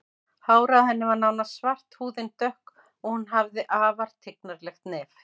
Hárið á henni var nánast svart, húðin dökk og hún hafði afar tignarlegt nef.